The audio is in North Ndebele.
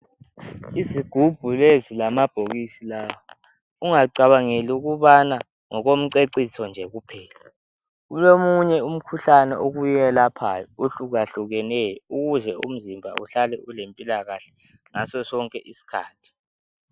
Izigubhu lezi lamabhokisi lawa ungacabangeli ukubana ngokomceciso njekuphela kulomunye umkhuhlane okuwelaphayo ohlakahlukaneyo ukuze umzimba uhlale ulempilakahle ngaso sonke iskhathi